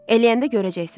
Eləyəndə görəcəksən.